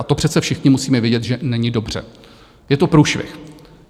A to přece všichni musíme vidět, že není dobře, je to průšvih.